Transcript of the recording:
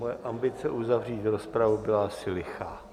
Moje ambice uzavřít rozpravu byla asi lichá.